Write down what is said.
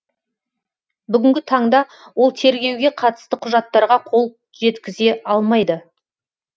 бүгінгі таңда ол тергеуге қатысты құжаттарға қол жеткізе алмайды